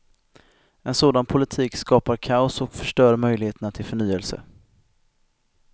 En sådan politik skapar kaos och förstör möjligheterna till förnyelse.